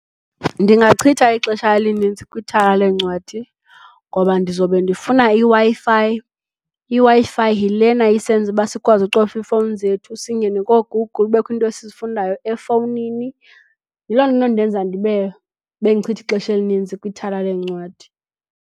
Ndingachitha ixesha elininzi kwithala lencwadi ngoba ndizobe ndifuna iWi-Fi, iWi-fi yilena isenza ukuba sikwazi ucofa iifowuni zethu singene kooGoogle kubekho iinto esizifundayo efowunini. Yiloo nto enondenza ndibe ndichitha ixesha elininzi kwithala lencwadi.